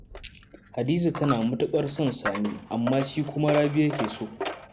Hadiza tana matuƙar son Sani, amma shi kuma Rabi ya ke so.